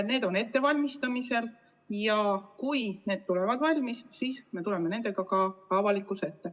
Need on ettevalmistamisel ja kui need saavad valmis, siis tuleme nendega ka avalikkuse ette.